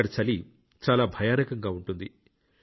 అక్కడ చలి చాలా భయానకంగా ఉంటుంది